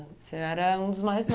O senhor era um dos mais